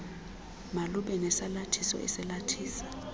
malube nesalathiso esalathisa